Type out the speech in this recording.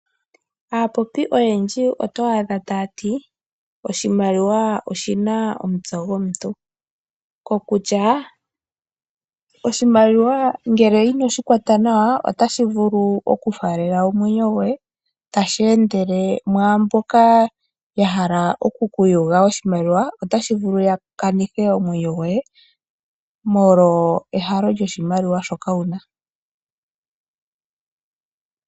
Aapopi oyendji oto adha ta yati oshimaliwa oshina omutse gomuntu. Kokutya oshimaliwa ngele inoshi kwata nawa otashi vulu oku faalela omwenyo goye tashi endele mwaamboka ya hala oku kuyuga oshimaliwa. Otashi vulu ya kanithe omwenyo goye molwa ehalo lyoshimaliwa shoka wuna.